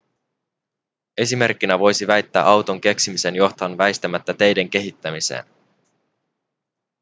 esimerkkinä voisi väittää auton keksimisen johtavan väistämättä teiden kehittämiseen